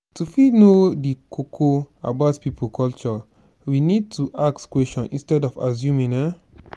to fit know di koko about pipo culture we need to ask question instead of assuming um